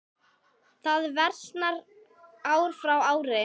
Það versnar ár frá ári.